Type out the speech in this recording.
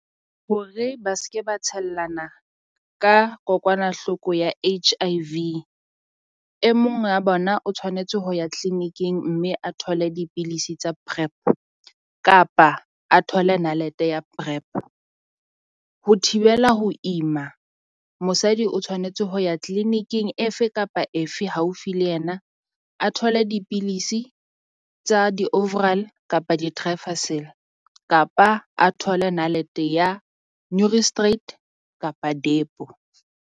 Hore ba se ke ba tshellana ka kokwanahloko ya H_I_V, e mong wa bona o tshwanetse ho ya clinic-ing mme a thole dipilisi tsa Prep. Kapa a thole nalete ya Prep, ho thibela ho ima mosadi o tshwanetse ho ya clinic-ing efe kapa efe haufi le yena. A thole dipilisi tsa di-overall kapa kapa a thole nalete ya straight kapa depo.